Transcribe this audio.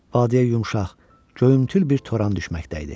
Vadiyə yumşaq, göyümtül bir toran düşməkdə idi.